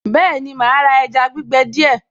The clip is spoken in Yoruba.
Bẹ́ẹ̀ni màá ra ẹja gbígbẹ díẹ̀